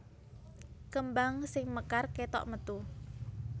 Kembang sing mekar kétok metu